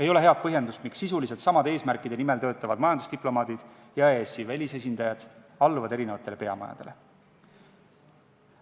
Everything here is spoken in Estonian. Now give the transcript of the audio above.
Ei ole head põhjendust, miks sisuliselt samade eesmärkide nimel töötavad majandusdiplomaadid ja EAS-i välisesindajad peaksid alluma erinevatele peamajadele.